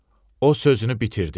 O sözünü bitirdi.